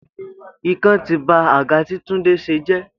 Ikán tí ba àga tí Túndé se jé